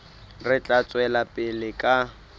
re tla tswela pele ka